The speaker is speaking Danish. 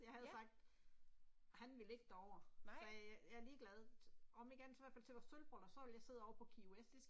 Jeg havde sagt, han ville ikke derover, sagde jeg, jeg er ligeglad om ikke andet så i hvert fald til vores sølvbryllup så vil jeg sidde ovre på Key West